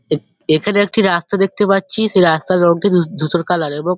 এ এখানে একটি রাস্তা দেখতে পারছি সে রাস্তার রংটা ধূ ধূসর কালার এবং--